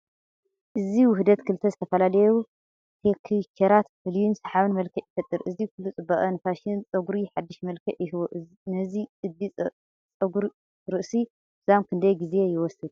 እዚ ውህደት ክልተ ዝተፈላለዩ ቴክቸራት ፍሉይን ሰሓብን መልክዕ ይፈጥር። እዚ ኩሉ ጽባቐ ንፋሽን ጸጉሪ ሓድሽ መልክዕ ይህቦ። ነዚ ቅዲ ጸጉሪ ርእሲ ንምዝዛም ክንደይ ግዜ ይወስድ?